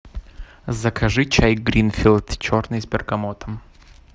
закажи чай гринфилд черный с бергамотом